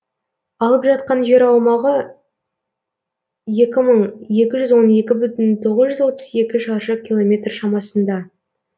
алып жатқан жер аумағы екі мың екі жүз он екі бүтін тоғыз жүз отыз екі шаршы километр шамасында